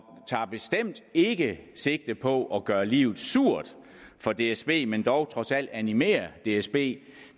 tager bestemt ikke sigte på at gøre livet surt for dsb men dog trods alt animere dsb